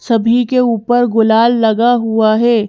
सभी के ऊपर गुलाल लगा हुआ है।